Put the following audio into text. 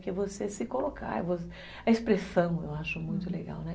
Que é você se colocar, a expressão eu acho muito legal, né? Uhum